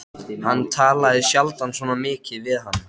Hann talaði sjaldan svona mikið við hana.